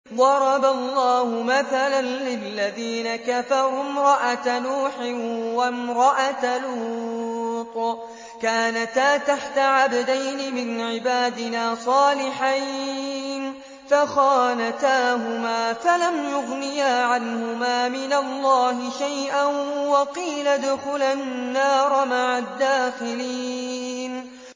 ضَرَبَ اللَّهُ مَثَلًا لِّلَّذِينَ كَفَرُوا امْرَأَتَ نُوحٍ وَامْرَأَتَ لُوطٍ ۖ كَانَتَا تَحْتَ عَبْدَيْنِ مِنْ عِبَادِنَا صَالِحَيْنِ فَخَانَتَاهُمَا فَلَمْ يُغْنِيَا عَنْهُمَا مِنَ اللَّهِ شَيْئًا وَقِيلَ ادْخُلَا النَّارَ مَعَ الدَّاخِلِينَ